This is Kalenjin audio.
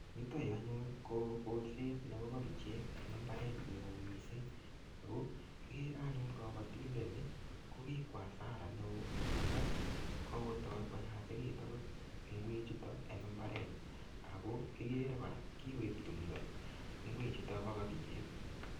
Yutoyu anyun, ko kolset nebo kabichek eng mbaret ne oo missing. Ako kikere anyun kabatindet ni, ko kikwo asara neo. Amu kokotai koyachekitu angot ngwek chutok eng mbaret. Ako kikere kora, kikoip timdo ngwek chutok bo kabichek.